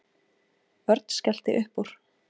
Örn skellti upp úr.